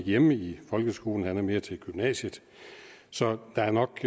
hjemme i folkeskolen han er mere til gymnasiet så der er nok